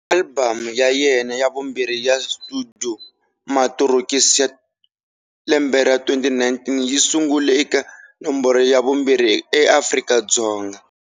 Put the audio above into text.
Alibamu ya yena ya vumbirhi ya studio"Matorokisi", 2019, yi sungule eka nomboro ya vumbirhi eAfrika-Dzonga.